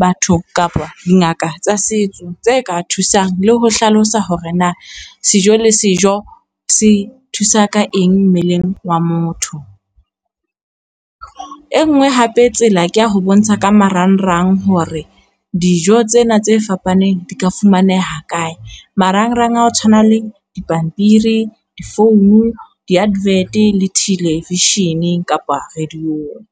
batho kapa dingaka tsa setso tse ka thusang le ho hlalosa hore, na sejo le sejo se thusa ka eng mmeleng wa motho. E ngwe hape tsela ko ho bontsha ka marangrang hore dijo tsena tse fapaneng di ka fumaneha kae, marangrang a o tshwana le dipampiri, difounu, di-advert le television-eng kapa radio-ng.